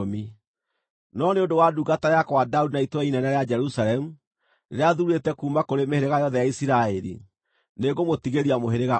No nĩ ũndũ wa ndungata yakwa Daudi na itũũra inene rĩa Jerusalemu, rĩrĩa thuurĩte kuuma kũrĩ mĩhĩrĩga yothe ya Isiraeli, nĩngũmũtigĩria mũhĩrĩga ũmwe.